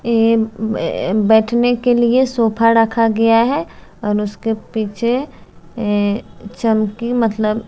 ये में अ बैठने के लिए सोफा रखा गया है और उसके पीछे ऐ चमकी मतलब --